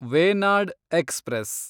Venad express